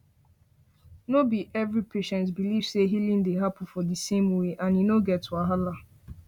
no be every every patient believe say healing dey happen for di same way and e no get wahala